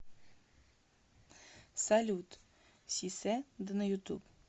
салют си се да на ютуб